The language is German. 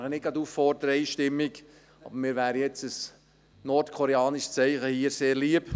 Ich darf nicht gerade zur Einstimmigkeit auffordern, aber mir wäre ein nordkoreanisches Zeichen hier sehr lieb.